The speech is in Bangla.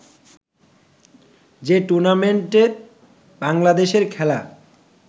যে টুর্নামেন্টে বাংলাদেশের খেলা